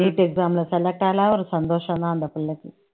NEETexam ல select ஒரு சந்தோஷம்தான் அந்த பிள்ளைக்கு